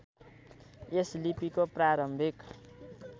यस लिपिको प्रारम्भिक